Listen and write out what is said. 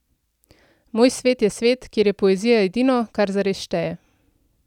Moj svet je svet, kjer je poezija edino, kar zares šteje.